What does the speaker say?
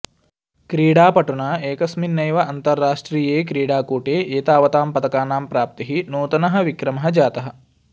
क्रीडापटुना एकस्मिन्नेव अन्ताराष्ट्रिये क्रीडाकूटे एतावतां पदकानां प्राप्तिः नूतनः विक्रमः जातः